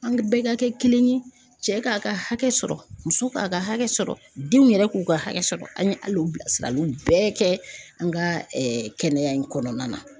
An bɛɛ ka kɛ kelen ye cɛ k'a ka hakɛ sɔrɔ muso k'a ka hakɛ sɔrɔ denw yɛrɛ k'u ka hakɛ sɔrɔ an ye hali o bilasiraliw bɛɛ kɛ an ka kɛnɛya in kɔnɔna na.